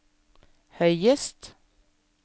høyest